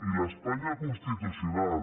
i l’espanya constitucional